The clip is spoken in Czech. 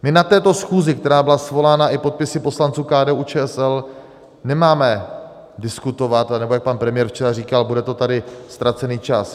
My na této schůzi, která byla svolána i podpisy poslanců KDU-ČSL, nemáme diskutovat, nebo jak pan premiér včera říkal - bude to tady ztracený čas.